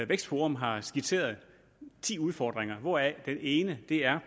vækstforum har skitseret ti udfordringer hvoraf den ene er